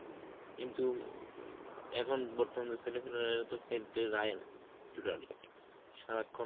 কিন্তু উ এখন বর্তমানে ছেলেপেলেরা তো খেলতে যায় না totally, সারাক্ষণ